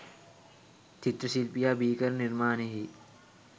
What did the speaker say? චිත්‍රශිල්පියා බිහිකරන නිර්මාණයෙහි